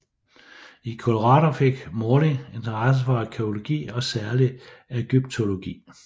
I Colorado fik Morley interesse for arkæologi og særligt ægyptologi